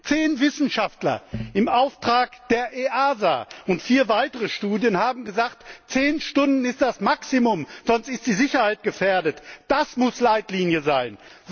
Zehn Wissenschaftler im Auftrag der EASA und vier weitere Studien haben gesagt Zehn Stunden sind das Maximum, sonst ist die Sicherheit gefährdet! Das muss Leitlinie sein!